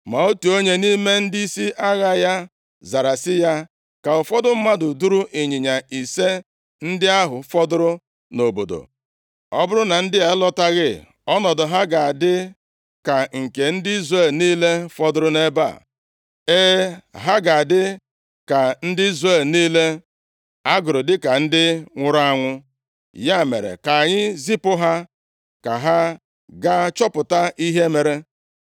Ma otu onye nʼime ndịisi agha ya zara sị ya, “Ka ụfọdụ mmadụ duru ịnyịnya ise ndị ahụ fọdụrụ nʼobodo. Ọ bụrụ na ndị a alọtaghị ọnọdụ ha ga-adị ka nke ndị Izrel niile fọdụrụ nʼebe, e, ha ga-adị ka ndị Izrel niile a gụrụ dịka ndị nwụrụ anwụ. Ya mere, ka anyị zipụ ha ka ha gaa chọpụta ihe mere.”